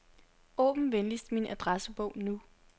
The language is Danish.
Åbn venligst min adressebog nu.